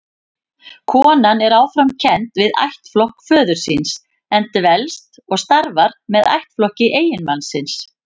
Konan er áfram kennd við ættflokk föður síns, en dvelst og starfar með ættflokki eiginmannsins.